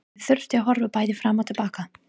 Ég þurfti að horfa bæði fram og til baka.